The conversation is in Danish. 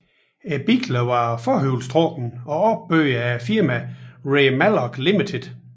Bilerne var forhjulstrukne og opbygget af firmaet Ray Mallock Limited